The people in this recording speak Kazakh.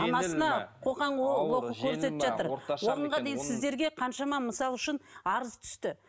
анасына қоқан лоққы көрсетіп жатыр оған дейін сіздерге қаншама мысалы үшін арыз түсті